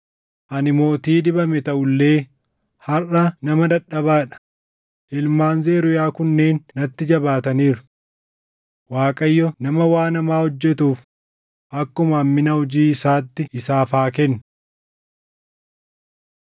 Ani mootii dibame taʼu illee harʼa nama dadhabaa dha; ilmaan Zeruuyaa kunneen natti jabaataniiru. Waaqayyo nama waan hamaa hojjetuuf akkuma hammina hojii isaatti isaaf haa kennu!”